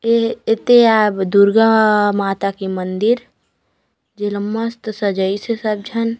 इह येते आ दुर्गा माता के मंदिर जे ला मस्त सजाइस हे सब झन--